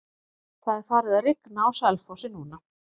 Það er farið að rigna á Selfossi núna.